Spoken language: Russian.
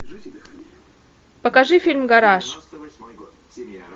покажи фильм гараж